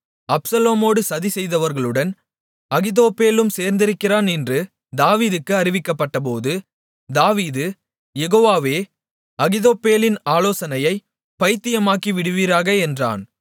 அப்சலோமோடு சதி செய்தவர்களுடன் அகித்தோப்பேலும் சேர்ந்திருக்கிறான் என்று தாவீதுக்கு அறிவிக்கப்பட்டபோது தாவீது யெகோவாவே அகித்தோப்பேலின் ஆலோசனையைப் பைத்தியமாக்கிவிடுவீராக என்றான்